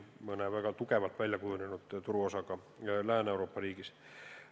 Väga kindlalt väljakujunenud turuosaga Lääne-Euroopa riikides on see raskem.